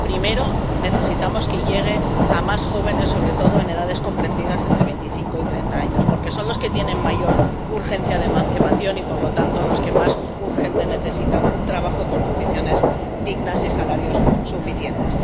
Primero, necesitamos que llegue a más jóvenes, sobre todo de edades comprendidas entre los 25 y los 30 años, porque son los que tienen mayor urgencia de emancipación y, por lo tanto, los que más urgente necesitan un trabajo con condiciones dignas y salarios suficientes.